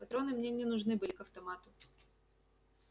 патроны мне нужны были к автомату